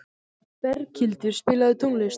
Berghildur, spilaðu tónlist.